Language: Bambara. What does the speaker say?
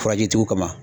Furajitigiw kama